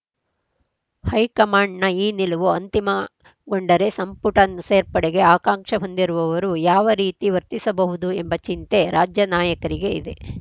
ಹೈಕಮಾಂಡ್‌ನ ಈ ನಿಲುವು ಅಂತಿಮಗೊಂಡರೆ ಸಂಪುಟ ಸೇರ್ಪಡೆಗೆ ಆಕಾಂಕ್ಷ ಹೊಂದಿರುವವರು ಯಾವ ರೀತಿ ವರ್ತಿಸಬಹುದು ಎಂಬ ಚಿಂತೆ ರಾಜ್ಯ ನಾಯಕರಿಗೆ ಇದೆ